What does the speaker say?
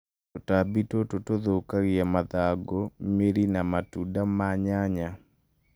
tũtambi tũtũ tũthukagia mathangũ, mĩri na matunda ma nyanya